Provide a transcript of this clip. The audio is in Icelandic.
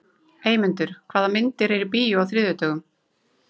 Eymundur, hvaða myndir eru í bíó á þriðjudaginn?